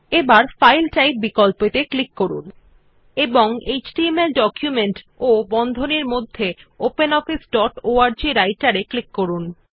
এবার file type বিকল্প ত়ে ক্লিক করুন এবং এচটিএমএল ডকুমেন্ট বন্ধনীর মধ্যে ওপেনঅফিস ডট অর্গ রাইটের অপশন এ ক্লিক করুন